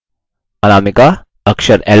अनामिका अक्षर l पर हो